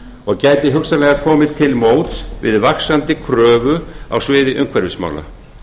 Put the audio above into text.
og gæti hugsanlega komið til móts við vaxandi kröfu á sviði umhverfismála